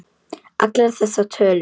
Allar þessar tölur.